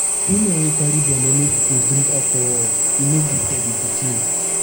women wey carry belle no suppose drink alcohol e no good for di pikin.